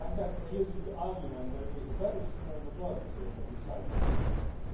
They're using the argument that it was a very small majority that decided about Brexit.